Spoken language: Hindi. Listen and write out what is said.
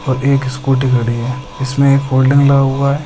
अभी एक स्कूटी खड़ी है इसमे एक होल्डिंग लगा हुआ है।